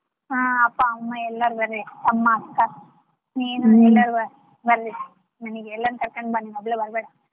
ಹಾ ಅಪ್ಪ, ಅಮ್ಮ ಎಲ್ಲಾರು ಬರ್ರಿ ಅಮ್ಮ, ಅಕ್ಕ ನೀನು ಬರ್ರಿ ಮನಿಗೆ ಎಲ್ಲಾರ್ನು ಕರ್ಕೊಂಡ್ ಬಾ ನೀನ್ ಒಬ್ಳೆ ಬರ್ಬೇಡ.